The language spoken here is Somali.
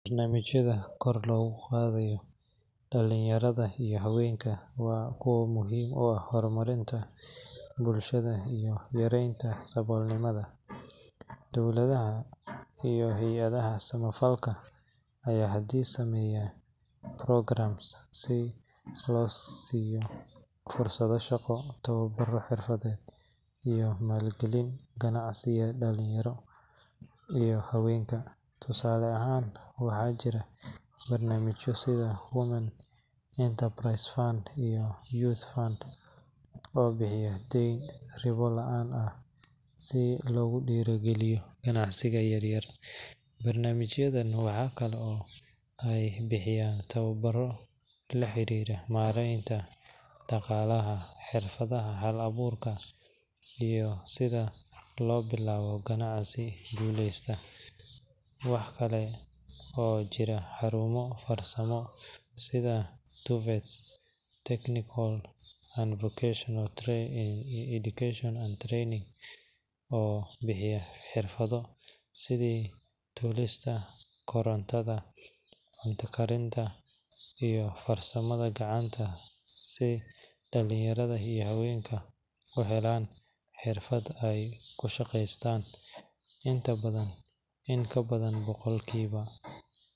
Barnamijyada kor lugu qaadayo dhalin yarada iyo haweenka waa kuwo muhiim u ah horumarinta bulshada iyo yareynta sabol nimada, dowladaha iyo hayadaha samafalka aya hadiyad sameeya programs si loo siyo fursado shaqo, tababar xirfaded iyo maal gelin ganacsiya dhalin yaro iyo haweenka tusaale ahan waxa jira barnamijya sida women enterprise fund and youth fund oo bixiya Deen ribo laan ah si logu dhiiri geliyo ganacsiga yaryar, barnamijyadan waxakale oy bixiyan tababaro laxariira mareynta dhaqalaha, xirfadaha hal abuurka iyo sida loo bilaabo ganacsi guleysta, waxakale oo jiraa xarumo farsamada sida Tvets technical and vocational training oo bixiya xirfado sidi tolista, korontada, cunta karinta iyo farsamada gacanta si dhalin yarada iyo haweenka u helaan xirfad ay kushaqeeystan, in ka badan boqolki ba